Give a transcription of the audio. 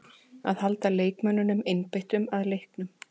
Að halda leikmönnunum einbeittum að leiknum.